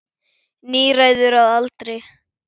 Níræður að aldri.